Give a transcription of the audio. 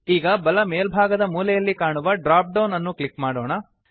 ಈಗ ಬಲ ಮೇಲ್ಭಾಗದ ಮೂಲೆಯಲ್ಲಿ ಕಾಣುವ ಡ್ರಾಪ್ ಡೌನ್ ಅನ್ನು ಕ್ಲಿಕ್ ಮಾಡೋಣ